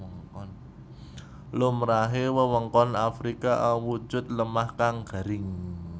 Lumrahe wewengkon Afrika awujud lemah kang garing